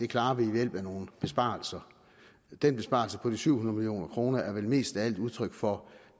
klares ved hjælp af nogle besparelser den besparelse på de syv hundrede million kroner er vel mest af alt udtryk for